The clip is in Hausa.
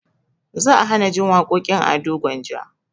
Za a hanajin waƙoƙin ado gwanja